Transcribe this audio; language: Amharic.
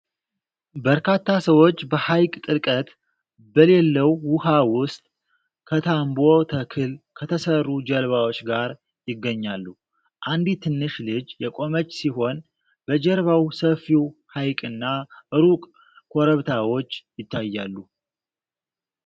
በርካታ ሰዎች በሐይቅ ጥልቀት በሌለው ውሃ ውስጥ ከታምቦ ተክል ከተሠሩ ጀልባዎች ጋር ይገኛሉ። አንዲት ትንሽ ልጅ የቆመች ሲሆን በጀርባው ሰፊው ሐይቅና ሩቅ ኮረብታዎች ይታያሉ።